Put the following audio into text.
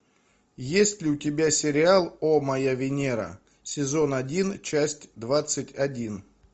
есть ли у тебя сериал о моя венера сезон один часть двадцать один